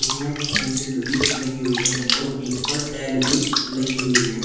मे भी लगी हुई हैं और बिथ पर टैल भी लगी हुई है।